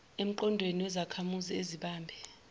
emqondweni wezakhamuzi ezibambe